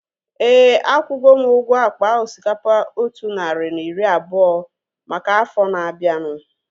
Éè, akwugo m ụgwọ akpa osikapa otu narị na iri abụọ maka afọ na-abianu